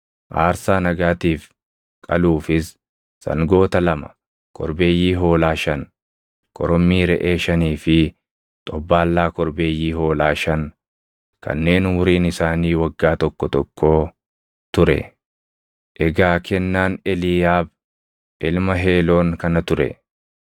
aarsaa nagaatiif qaluufis sangoota lama, korbeeyyii hoolaa shan, korommii reʼee shanii fi xobbaallaa korbeeyyii hoolaa shan kanneen umuriin isaanii waggaa tokko tokkoo ture. Egaa kennaan Eliiyaab ilma Heeloon kana ture.